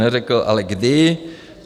Neřekl ale, kdy.